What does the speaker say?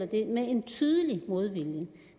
det er med en tydelig modvilje